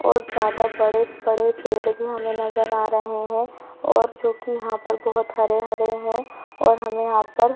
और ज्यादा बड़े-बड़े पेड़ भी हमें नज़र आ रहे है और जो कि यहाँ पर बहोत हरे-हरे है और हमे यहाँ पर--